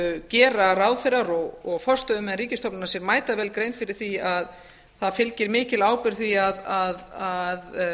gera ráðherrar og forstöðumenn ríkisstofnana sér mætavel grein fyrir því að það fylgir mikil ábyrgð því að